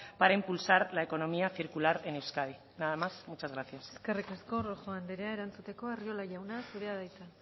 para impulsar a economía circular en euskadi nada más muchas gracias eskerrik asko rojo anderea erantzuteko arriola jauna zurea da hitza